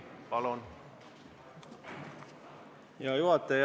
Hea juhataja!